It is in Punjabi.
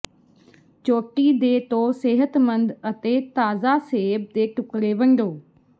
ਚੋਟੀ ਦੇ ਤੋ ਸੇਹਤਮੰਦ ਅਤੇ ਤਾਜ਼ਾ ਸੇਬ ਦੇ ਟੁਕੜੇ ਵੰਡੋ